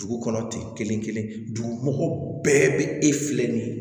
Dugu kɔnɔ ten kelen kelen dugu bɛɛ bɛ e filɛ nin ye